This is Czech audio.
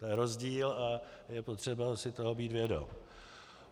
To je rozdíl a je potřeba si toho být vědom.